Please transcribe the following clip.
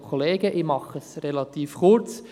Ich mache es relativ kurz.